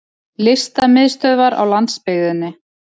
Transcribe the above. Listamiðstöðvar á landsbyggðinni!